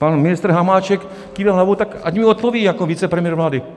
Pan ministr Hamáček kýve hlavou, tak ať mi odpoví jako vicepremiér vlády.